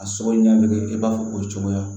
A sogo ɲɛnama bɛ kɛ i b'a fɔ o cogoya